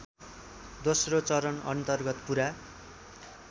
दोस्रो चरणअन्तर्गत पुरा